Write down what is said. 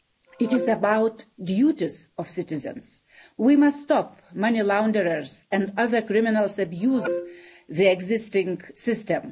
It is about the duties of citizens. We must stop money launderers and other criminals that abuse the existing system.